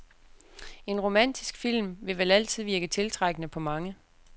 En romantisk film vil vel altid virke tiltrækkende på mange.